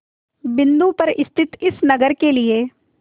बिंदु पर स्थित इस नगर के लिए